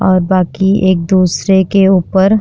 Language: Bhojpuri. और बाकि एक दूसरे के ऊपर --